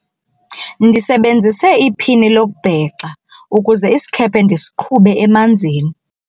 ndisebenzise iphini lokubhexa ukuze isikhephe ndisiqhube emanzini